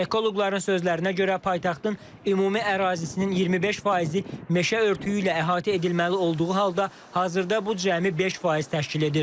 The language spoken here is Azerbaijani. Ekoloqların sözlərinə görə, paytaxtın ümumi ərazisinin 25 faizi meşə örtüyü ilə əhatə edilməli olduğu halda, hazırda bu cəmi 5 faiz təşkil edir.